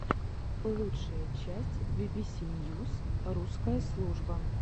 лучшая часть бибиси ньюс русская служба